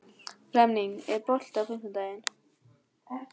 Flemming, er bolti á fimmtudaginn?